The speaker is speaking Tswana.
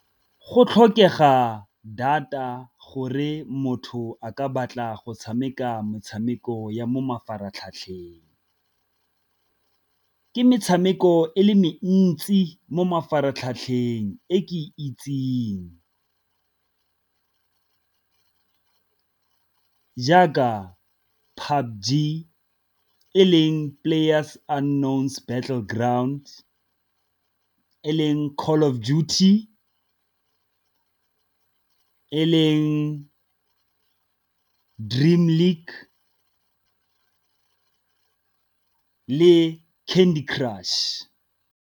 Go tlhokega data gore motho a ka batla go tshameka metshameko ya mo mafaratlhatlheng. Ke metshameko e le mentsi mo mafaratlhatlheng e ke itseng jaaka e leng Players battle ground, e leng Call of duty, e leng Dream league le Candy crush.